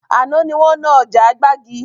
Àná ni wọn ná ọjà gbàgì